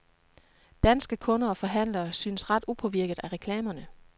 Danske kunder og forhandlere synes ret upåvirket af reklamerne.